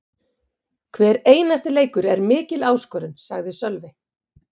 Hver einasti leikur er mikil áskorun, sagði Sölvi.